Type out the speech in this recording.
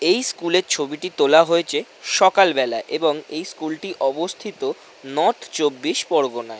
এই স্কুল -এর ছবিটি তোলা হয়েছে সকালবেলায় এবং এই স্কুল -টি অবস্থিত নর্থ চব্বিশ পরগনায়।